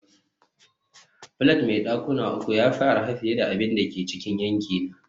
flat mai dakuna uku ya fi arha fiye da abin da ke cikin yankina